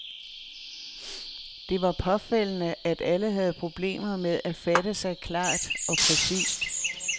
Det var påfaldende, at alle havde problemer med at fatte sig klart og præcist.